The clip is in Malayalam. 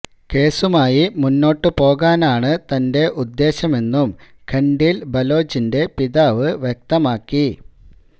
കേസുമായി മുന്നോട്ടു പോകാനാണ് തന്റെ ഉദ്ദേശമെന്നും ഖൻഡീൽ ബലോചിന്റെ പിതാവ് വ്യക്തമാക്കി